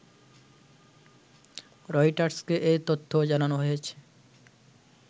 রয়টার্সকে এ তথ্য জানানো হয়েছে